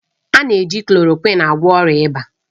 A na-eji klòròkwịn agwọ ọrịa ịba.